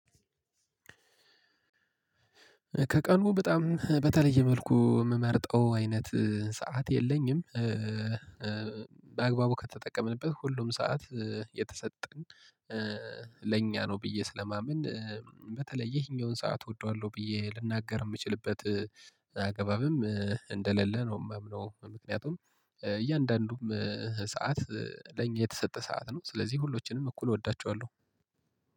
ከቀኑ በጣም በተለየ መልኩ የምመርጠው አይነት ሰዓት የለኝም። በአግባቡ ከተጠቀምንበት ሁሉም ሰዓት የተሰጠን ለእኛ ነው ብዬ ስለማምን። በተለየ ይሄኛውን ሰዓት እወደዋለሁ ብዬ ልናገር የምችልበት አገባብም እንደሌለ ነው የማምነው። ምክንያቱም እያንዳንዱም ሰዓት ለኛ የተሰጠ ሰዓት ነው። ስለዚህ ሁሎችንም እኩል እወዳቸዋለሁ